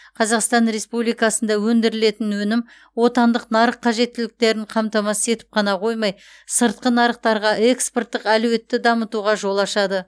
қазақстан республикасында өндірілетін өнім отандық нарық қажеттіліктерін қамтамасыз етіп қана қоймай сыртқы нарықтарға экспорттық әлеуетті дамытуға жол ашады